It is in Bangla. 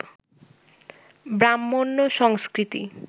ব্রাহ্মণ্য সংস্কৃতি